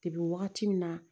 Depi wagati min na